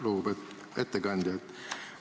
Lugupeetud ettekandja!